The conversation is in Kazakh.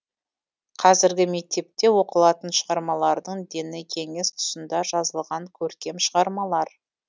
қазіргі мектепте оқылатын шығармалардың дені кеңес тұсында жазылған көркем шығармалар